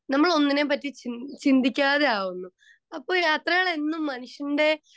speaker 2 നമ്മളെ പറ്റി ഒന്നിനെയും ചിന്തിക്കാതെ ആകുന്നു .അപ്പൊ യാത്രകൾ മനുഷ്യന്റെ